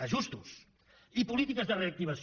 ajustos i polítiques de reactivació